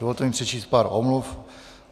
Dovolte mi přečíst pár omluv.